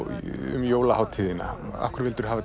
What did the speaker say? um jólahátíðina af hverju vildirðu hafa